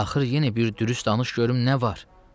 Axır yenə bir dürüst danış, görüm nə var?